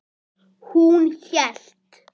Hún hélt.